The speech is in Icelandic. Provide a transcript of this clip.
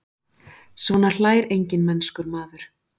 Svona hlær enginn mennskur maður.